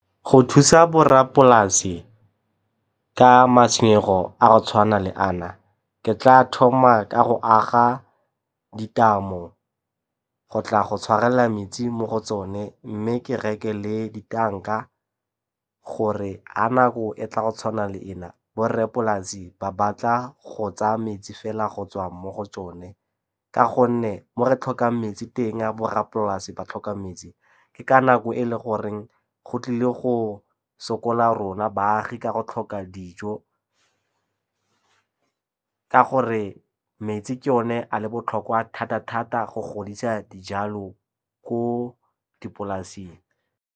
Go thusa borrapolasi ka matshwenyego a go tshwana le ana, ke tla thoma ka go aga ditamo go tla go tshwarelela metsi mo go tsone mme ke reke le di tanka gore ka nako e tla go tshwana le ena borrapolasi ba batla go tsaya metsi fela go tswa mo go tsone. Ka gonne mo re tlhokang metsi teng a borrapolasi ba tlhoka metsi ke ka nako e le goreng go tlile go sokola rona baagi ka go tlhoka dijo, ka gore metsi ke one a le botlhokwa thata-thata go godisa dijalo ko dipolaseng.